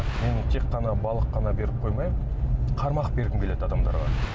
мен тек қана балық қана беріп қоймай қармақ бергім келеді адамдарға